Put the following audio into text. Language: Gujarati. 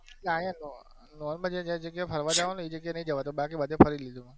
normal જે જગ્યા એ ફરવા જવનું હોય એ જગ્યા એ નઈ જવાતું બાકી બધે ફરી લીધું.